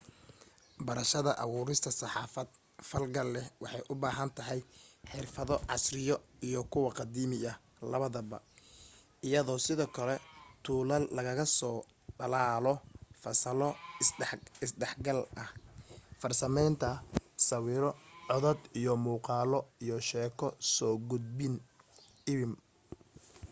barashada abuurista saxaafad falgal leh waxay u baahan tahay xirfado casriya iyo kuw qadiimi ah labadaba iyo sidoo kale tuulal lagaga soo dhalaalo fasalo is dhexgal ah farsamaynta sawiro codad iyo muuqaalo iyo sheeko soo gudbin iwm.